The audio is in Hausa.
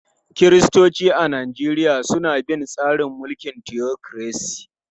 Kiristoci a Najeriya suna bin tsarin mulkin tiyokiresi.